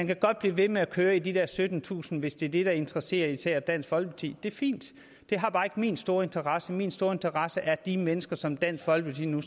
kan godt blive ved med at køre i de der syttentusinde hvis det er det der interesserer især dansk folkeparti det er fint det har bare ikke min store interesse min store interesse er de mennesker som dansk folkeparti nu